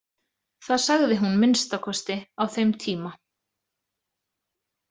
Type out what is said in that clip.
Það sagði hún að minnsta kosti á þeim tíma.